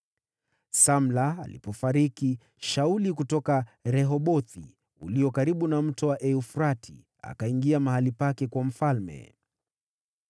Samla alipofariki, Shauli kutoka Rehobothi ngʼambo ya Mto Frati, akawa mfalme baada yake.